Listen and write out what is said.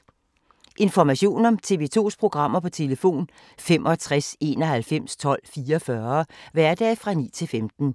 Information om TV 2's programmer: 65 91 12 44, hverdage 9-15.